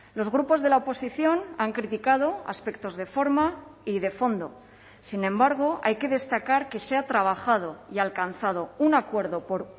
los grupos de la oposición han criticado aspectos de forma y de fondo sin embargo hay que destacar que se ha trabajado y alcanzado un acuerdo por